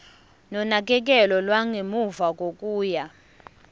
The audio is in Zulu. nonakekelo lwangemuva kokuya